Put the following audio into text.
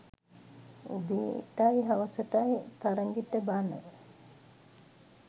උදේටයි හවසටයි තරගෙට බණ